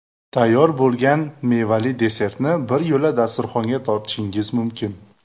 Tayyor bo‘lgan mevali desertni biryo‘la dasturxonga tortishingiz mumkin.